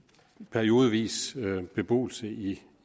periodevis beboelse i